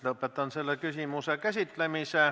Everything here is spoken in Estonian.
Lõpetan selle küsimuse käsitlemise.